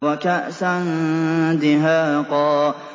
وَكَأْسًا دِهَاقًا